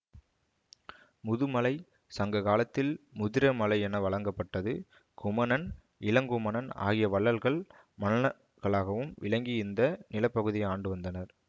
முதுமலை சங்ககாலத்தில் முதிரமலை என வழங்கப்பட்டது குமணன் இளங்குமணன் ஆகிய வள்ளல்கள் மன்னகளாகவும் விளங்கி இந்த நிலப்பகுதியை ஆண்டுவந்தனர்